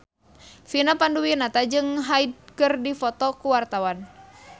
Vina Panduwinata jeung Hyde keur dipoto ku wartawan